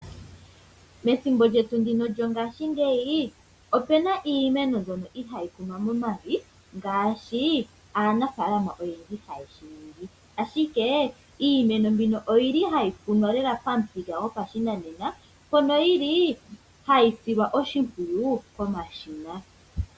Methimbo lyetu ndino lyongaashingeyi opu na iimeno mbyono ihayi kunwa momavi ngaashi aanafaalama oyendji haye shi ningi. Ashike iimeno mbino oyi li hayi kunwa lela pamuthika gopashinanena mpono yili hayi silwa oshimpwiyu komashina.